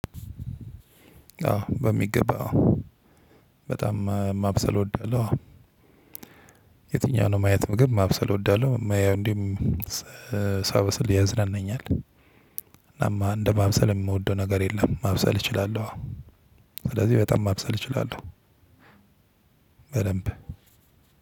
በሚገባ አዎ በጣም ማብሰል እወዳለሁ። የትኛው ነው? ማየት ግን ማብሰል እወዳለሁ እንዴም ሳበስል ያዝናናኛል። እናም እንደማብሰል የምወደው ነገር የለም። ማብሰል እችላለሁ አዎ ስለዚህ በጣም ማብሰል እችላለሁ። በደምብ